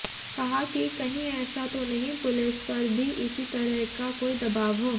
कहा कि कहीं ऐसा तो नहीं पुलिस पर भी इसी तरह का कोई दबाव हो